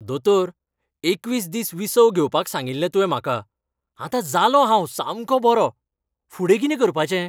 दोतोर, एकवीस दीस विसव घेवपाक सांगिल्लें तुवें म्हाका. आतां जालों हांव सामकों बरो. फुडें कितें करपाचें?